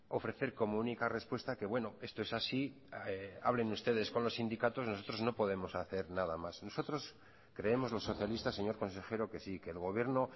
ofrecer como única respuesta que bueno esto es así hablen ustedes con los sindicatos nosotros no podemos hacer nada más nosotros creemos los socialistas señor consejero que sí que el gobierno